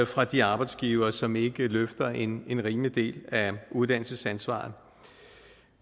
fra de arbejdsgivere som ikke løfter en en rimelig del af uddannelsesansvaret